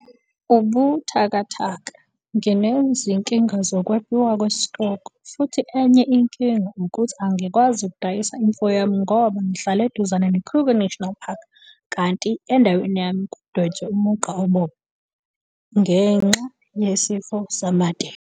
Ubuthakathaka- Nginezinkinga zokwebiwa kwesitoko futhi enye inking ukuthi angikwazi ukudayisa imfuyo yami ngoba ngihlala eduzane neKruger National Park kanti indaweni yami "kwadwetshwa umugqa obomvu" ngenxa yesifo samatele.